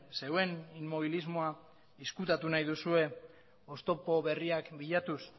zeuen inmobilismoa ezkutatu nahi duzue oztopo berriak bilatuz